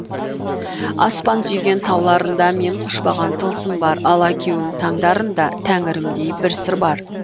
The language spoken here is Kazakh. аспан сүйген тауларында мен құшпаған тылсым бар алаукеуім таңдарында тәңірімдей бір сыр бар